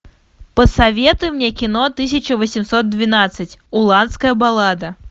посоветуй мне кино тысяча восемьсот двенадцать уланская баллада